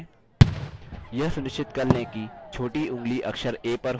यह सुनिश्चित कर लें कि छोटी ऊँगली अक्षर a पर हो